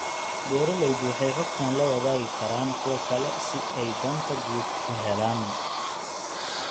Beeraleydu waxay xogtan la wadaagi karaan kuwa kale si ay danta guud u helaan.